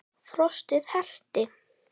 Frostið herti.